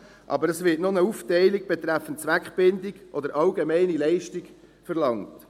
Aber es wird noch eine Aufteilung betreffend Zweckbindung oder allgemeine Leistung verlangt.